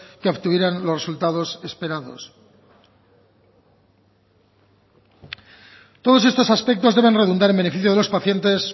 que obtuvieran los resultados esperados todos estos aspectos deben redundar en beneficio de los pacientes